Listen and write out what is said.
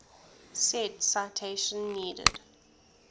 said citation needed